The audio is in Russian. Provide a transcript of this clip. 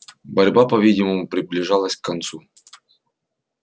борьба по-видимому приближалась к концу